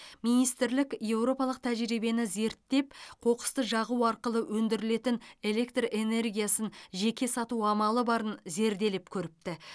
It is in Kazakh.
министрлік еуропалық тәжірибені зерттеп қоқысты жағу арқылы өндірілетін электр энергиясын жеке сату амалы барын зерделеп көріпті